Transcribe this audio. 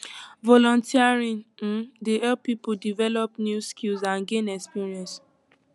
volunteering um dey help people develop new skills and gain experience